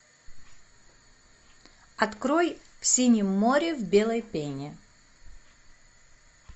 открой в синем море в белой пене